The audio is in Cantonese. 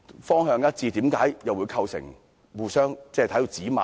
方向一致的方案，為何會構成互相指罵？